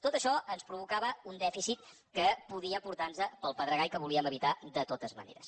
tot això ens provocava un dèficit que podia portar nos pel pedregar i que volíem evitar de totes maneres